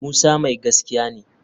Musa mai gaskiya ne